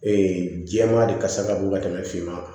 jɛman de kasa ka bon ka tɛmɛ finma kan